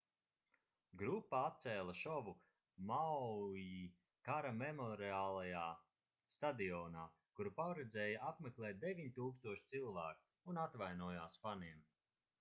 grupa atcēla šovu maui kara memoriālajā stadionā kuru paredzēja apmeklēt 9000 cilvēku un atvainojās faniem